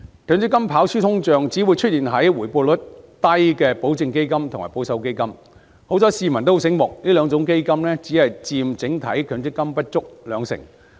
強積金跑輸通脹只會出現在回報率低的保證基金和保守基金，幸好市民很聰明，這兩種基金只佔整體強積金不足 20%。